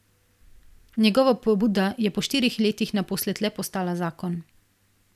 Njegova pobuda je po štirih letih naposled le postala zakon.